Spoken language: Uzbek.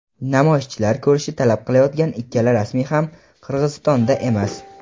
namoyishchilar ko‘rishni talab qilayotgan ikkala rasmiy ham Qirg‘izistonda emas.